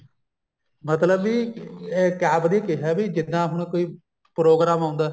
ਮਤਲਬ ਬੀ ਇਹ ਕਿਆ ਉਹਨੇ ਕਿਹਾ ਵੀ ਜਿੱਦਾਂ ਹੁਣ ਕੋਈ program ਆਉਂਦਾ